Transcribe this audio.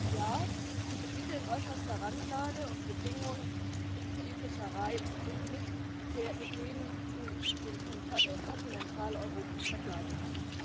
Ja, die Gebiete in äußerster Randlage und Bedingungen für die Fischerei sind nicht mit denen in Kontinentaleuropa vergleichbar.